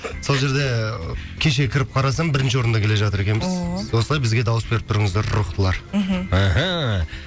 сол жерде кеше кіріп қарасам бірінші орында келе жатыр екенбіз ооо осылай бізге дауыс беріп тұрыңыздар рухтылар мхм мхм